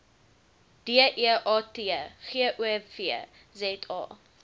deat gov za